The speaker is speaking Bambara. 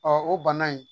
o bana in